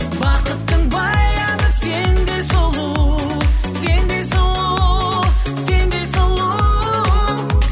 бақыттың баяны сендей сұлу сендей сұлу сендей сұлу